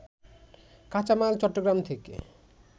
কাঁচামাল চট্টগ্রাম থেকে